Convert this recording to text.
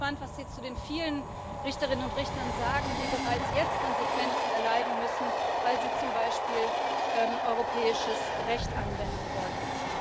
Und ich bin gespannt, was Sie zu den vielen Richterinnen und Richtern sagen, die bereits jetzt Konsequenzen erleiden müssen, weil sie zum Beispiel europäisches Recht anwenden wollten.